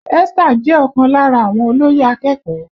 Esther jẹ́ ọ̀kan lára àwọn olóyè akẹ́kọ̀ọ́